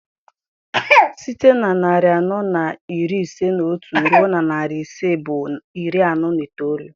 Site na narị anọ na iri ise na otu ruo na narị ise bụ iri anọ na itoolu.